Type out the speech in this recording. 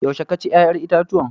Yaushe ka ci yayan itatuwan?